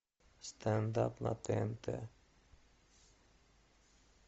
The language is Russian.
стендап на тнт